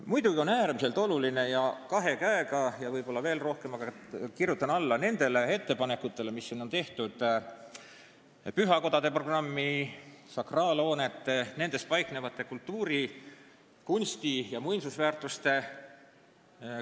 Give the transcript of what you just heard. Muidugi on äärmiselt olulised need ettepanekud, mis siin on tehtud pühakodade programmi rahaliste vahendite suurendamise kohta, et korrastada, renoveerida ja teha korda sakraalhooneid ning nendes paiknevaid kultuuri-, kunsti- ja muinsusväärtusi.